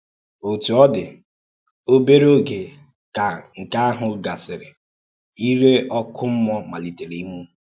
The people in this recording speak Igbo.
Ǒtú ọ dị, obere ógè ka nke ahụ̀ gàsìrì, ìrè ọ́kụ́ mmúọ̀ malítèrè ìnwụ̀.